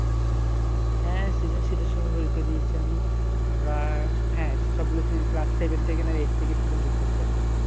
হ্যাঁ সৃজনশীল এর সময় পরীক্ষা দিয়েছি আমি আমরা হ্যাঁ সবগুলো class seven থেকে আর eight থেকে season shift হয়েছি আমরা